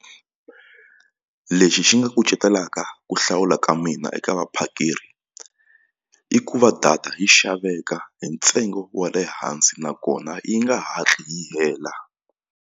Lexi xi nga kucetelaka ku hlawula ka mina eka vaphakeri i ku va data yi xaveka hi ntsengo wa le hansi nakona yi nga hatli yi hela.